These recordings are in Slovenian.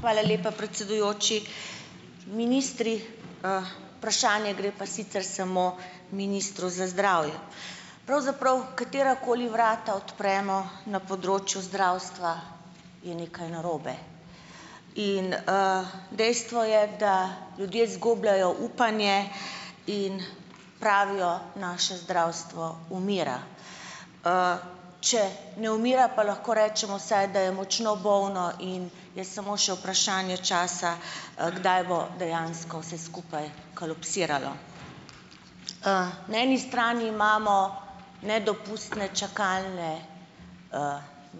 Hvala lepa, predsedujoči! Ministri, vprašanje gre pa sicer samo ministru za zdravje. Pravzaprav, katerakoli vrata odpremo na področju zdravstva, je nekaj narobe in, dejstvo je, da ljudje izgubljajo upanje in pravijo, naše zdravstvo umira. Če ne umira, pa lahko rečemo, saj da je močno bolno in je samo še vprašanje časa, kdaj bo dejansko vse skupaj kolapsiralo. Na eni strani imamo nedopustne čakalne,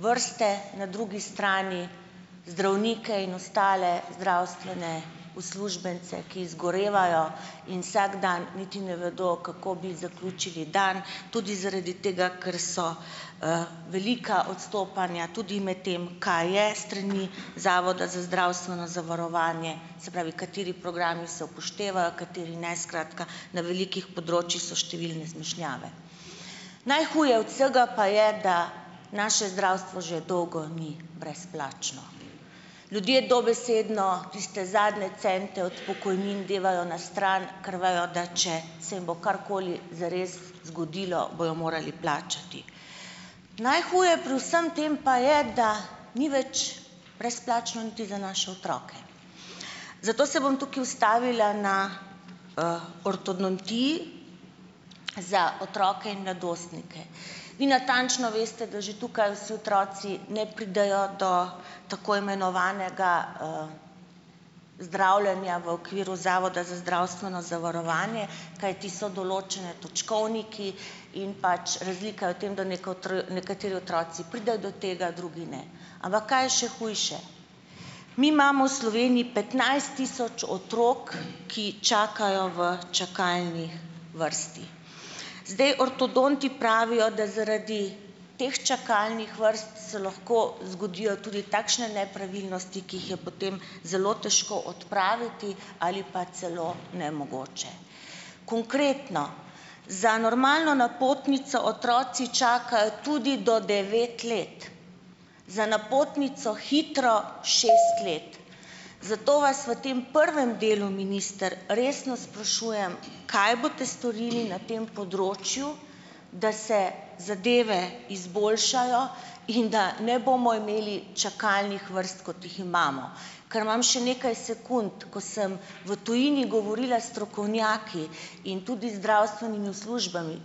vrste, na drugi strani zdravnike in ostale zdravstvene uslužbence, ki zgorevajo in vsak dan niti ne vedo, kako bi zaključili dan, tudi zaradi tega, ker so, velika odstopanja tudi med tem, kaj je s strani Zavoda za zdravstveno zavarovanje, se pravi, kateri programi se upoštevajo, kateri ne, skratka, na velikih področjih so številne zmešnjave. Najhuje od vsega pa je, da naše zdravstvo že dolgo ni brezplačno. Ljudje dobesedno tiste zadnje cente od pokojnin devajo na stran, ker vejo, da če se jim bo karkoli zares zgodilo, bojo morali plačati. Najhuje pri vsem tem pa je, da ni več brezplačno niti za naše otroke. Zato se bom tukaj ustavila na, ortodontiji za otroke in mladostnike. Vi natančno veste, da že tukaj vsi otroci ne pridejo do tako imenovanega, zdravljenja v okviru Zavoda za zdravstveno zavarovanje, kajti so določeni točkovniki in pač razlika je v tem, da nekateri otroci pridejo do tega, drugi ne. Ampak kaj je še hujše? Mi imamo v Sloveniji petnajst tisoč otrok, ki čakajo v čakalnih vrstah. Zdaj, ortodonti pravijo, da zaradi teh čakalnih vrst se lahko zgodijo tudi takšne nepravilnosti, ki jih je potem zelo težko odpraviti ali pa celo nemogoče. Konkretno, za normalno napotnico otroci čakajo tudi do devet let, za napotnico hitro šest let. Zato vas v tem prvem delu, minister, resno sprašujem, kaj boste storili na tem področju, da se zadeve izboljšajo in da ne bomo imeli čakalnih vrst kot jih imamo. Ker imam še nekaj sekund, ko sem v tujini govorila s strokovnjaki in tudi zdravstvenimi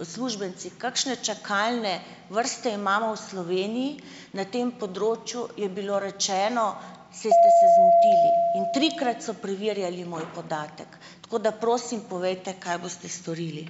uslužbenci, kakšne čakalne vrste imamo v Sloveniji na tem področju, je bilo rečeno, saj ste se zmotili in trikrat so preverjali moj podatek. Tako da, prosim, povejte, kaj boste storili.